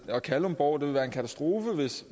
kalundborg vil det være en katastrofe